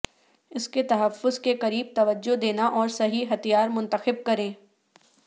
اس کے تحفظ کے قریب توجہ دینا اور صحیح ہتھیار منتخب کریں